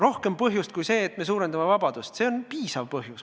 Mõjuvamat põhjust kui see, et me suurendame vabadust?